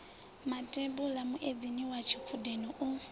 matambule muedzini wa tshikhudini u